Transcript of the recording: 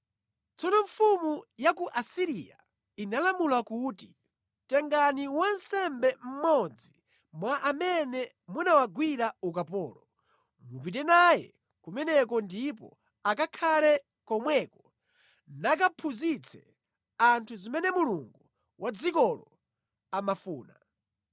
Tsono mfumu ya ku Asiriya inalamula kuti, “Tengani wansembe mmodzi mwa amene munawagwira ukapolo, mupite naye kumeneko ndipo akakhale komweko nakaphunzitse anthu zimene Mulungu wa dzikolo amafuna.”